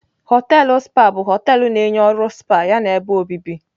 Họteelụ spa bụ họteelụ na-enye ọrụ spa yana ebe obibi.